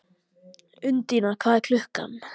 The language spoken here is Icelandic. Undína, hvað er klukkan?